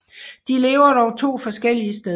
De lever dog to forskellige steder